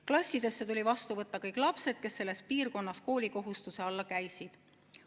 Klassidesse tuli vastu võtta kõik lapsed, kes selles piirkonnas koolikohustuse alla käisid.